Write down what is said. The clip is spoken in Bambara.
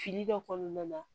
Fili dɔ kɔnɔna na